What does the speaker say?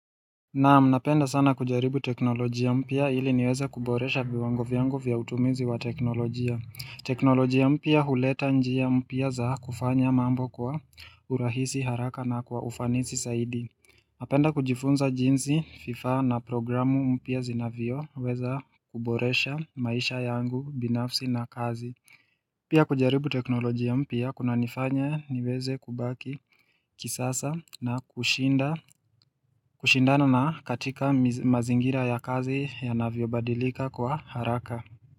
Naam, napenda sana kujaribu teknolojia mpya ili niweza kuboresha viwango viangu vya utumizi wa teknolojia. Teknolojia mpya huleta njia mpia za kufanya mambo kwa urahisi haraka na kwa ufanisi saidi. Napenda kujifunza jinsi fifa na programu mpia zinavyo weza kuboresha maisha yangu binafsi na kazi. Pia kujaribu teknolojia mpia kuna nifanya niweze kubaki kisasa na kushinda na katika mazingira ya kazi ya navyobadilika kwa haraka.